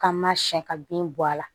K'an ma siɲɛ ka bin bɔ a la